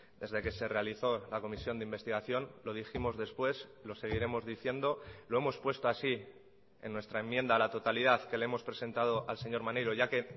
desde que se realizó la comisión de investigación lo dijimos después lo seguiremos diciendo lo hemos puesto así en nuestra enmienda a la totalidad que le hemos presentado al señor maneiro ya que